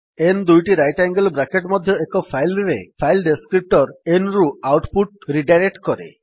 n ଦୁଇଟି right angle bracket ମଧ୍ୟ ଏକ ଫାଇଲ୍ ରେ ଫାଇଲ୍ ଡେସ୍କ୍ରିପ୍ଟର୍ n ରୁ ଆଉଟ୍ ପୁଟ୍ ରିଡାଇରେକ୍ଟ୍ କରେ